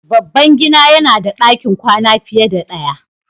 Babban gida yana da ɗakin kwana fiye da ɗaya.